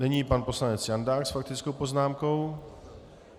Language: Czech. Nyní pan poslanec Jandák s faktickou poznámkou.